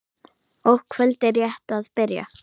og kvöldið rétt að byrja!